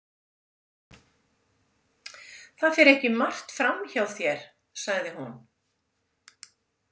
Það fer ekki margt fram hjá þér, sagði hún.